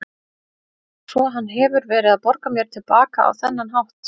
Svo hefur hann verið að borga mér til baka á þennan hátt.